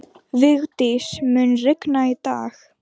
Vigdís, mun rigna í dag?